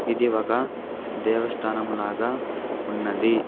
ఇది ఒక దేవస్థానం లాగా ఉన్నది.